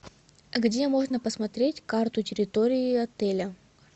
где можно посмотреть карту территории отеля